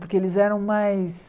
Porque eles eram mais...